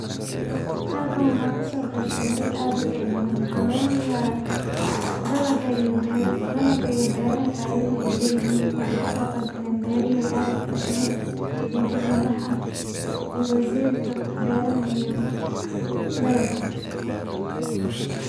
Halkan waxa kaso gebgale dad utira badhan waxa laga hadlaya dalaga iyo beraha faidadha ay leyihin. Waxa kaso qebgale beraley ad utira badhan iyo dad madax ah iyo wazirka beraha iyo dalaga.